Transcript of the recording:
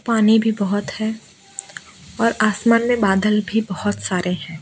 पानी भी बहोत है और आसमान में बादल भी बहोत सारे हैं।